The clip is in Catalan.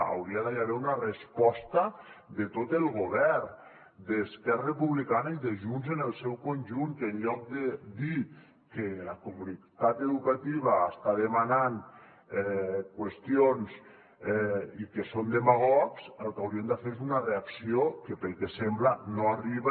hi hauria d’haver una resposta de tot el govern d’esquerra republicana i de junts en el seu conjunt que en lloc de dir que la comunitat educativa està demanant qüestions i que són demagogs el que haurien de fer és una reacció que pel que sembla no arriba